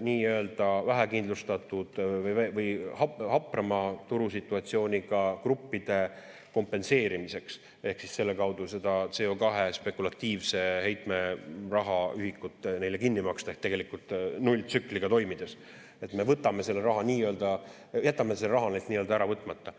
nii-öelda vähekindlustatud või haprama turusituatsiooniga gruppide kompenseerimiseks ehk siis selle kaudu seda CO2 spekulatiivse heitme rahaühikut neile kinni maksta, ehk tegelikult nulltsükliga toimides me jätame selle raha neilt ära võtmata.